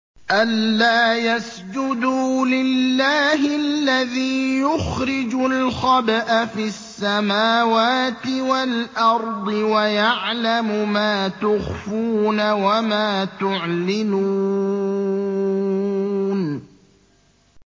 أَلَّا يَسْجُدُوا لِلَّهِ الَّذِي يُخْرِجُ الْخَبْءَ فِي السَّمَاوَاتِ وَالْأَرْضِ وَيَعْلَمُ مَا تُخْفُونَ وَمَا تُعْلِنُونَ